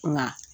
Nka